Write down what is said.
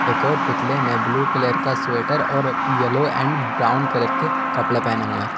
एक और पुतले ने ब्लू कलर का स्वेटर और येलो एंड ब्राउन कलर के कपड़े पहने हुए हैं।